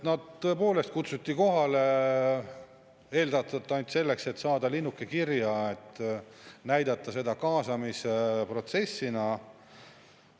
Nad tõepoolest kutsuti kohale ilmselt ainult selleks, et saada linnuke kirja, et näidata seda kaasamise protsessina.